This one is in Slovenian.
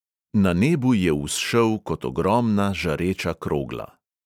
Na nebu je vzšel kot ogromna žareča krogla.